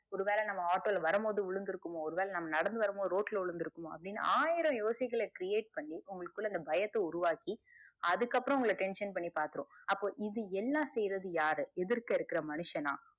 ஒரு வேல நம்ம ஆட்டோ ல வரும் பொது விழுந்துருக்குமோ ஒருவேல நம்ம ரோட் ல நடந்து வரும் போது விழுந்துருக்குமோ அப்புடின்னு ஆயிரம் யோசிகல creat பண்ணி உங்களுகுள்ள அந்த பயத்த உருவாக்கி அதுக்கு அப்புறம் tension பண்ணி பாத்திரும் அப்போ இது எல்லாம் செய்யுறது யாரு எதிர்க்க இருக்குற மனுசனா